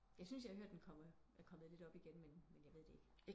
Jeg syntes jeg har hørt den er kommet lidt op igen men jeg ved det ikke